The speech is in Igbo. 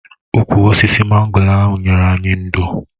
Ụkwụ osisi mango ahụ nyere anyị ndò.